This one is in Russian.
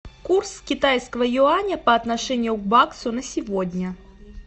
курс китайского юаня по отношению к баксу на сегодня